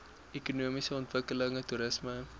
ekonomiese ontwikkeling toerisme